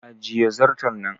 Ajiye zarton nan!